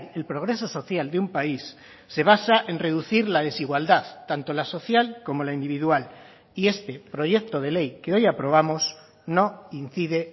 el progreso social de un país se basa en reducir la desigualdad tanto la social como la individual y este proyecto de ley que hoy aprobamos no incide